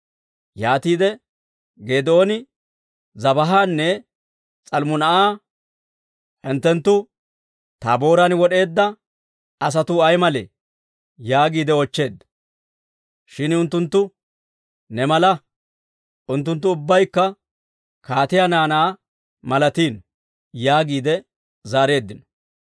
Yaatiide Geedooni Zebaahanne S'almmunaa'a, «Hinttenttu Taabooran wod'eedda asatuu ay malee?» yaagiide oochcheedda. Shin unttunttu, «Ne mala; unttunttu ubbaykka kaatiyaa naanaa malatino» yaagiide zaareeddino.